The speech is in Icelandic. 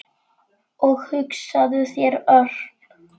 Og hugsaðu þér, Örn.